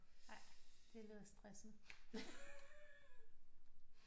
Ej det lyder stressende